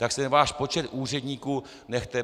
Tak si ten váš počet úředníků nechte!